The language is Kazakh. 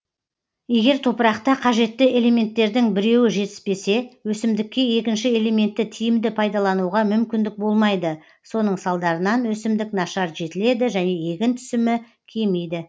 егер топырақта қажетті элементтердің біреуі жетіспесе өсімдікке екінші элементті тиімді пайдалануға мүмкіндік болмайды соның салдарынан өсімдік нашар жетіледі және егін түсімі кемиді